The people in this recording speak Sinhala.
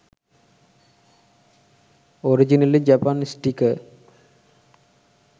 originally japan sticker